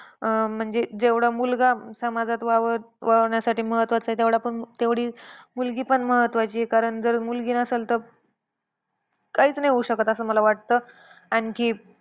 अं म्हणजे जेवढा मुलगा समाजात वाव वावरण्यासाठी महत्वाचा आहे, तेवढा पण तेवढी मुलगी पण महत्वाची आहे. कारण जर मुलगी नसेल तर, काहीच नाही होऊ शकत असं मला वाटतं. आणखी,